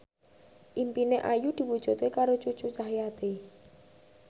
impine Ayu diwujudke karo Cucu Cahyati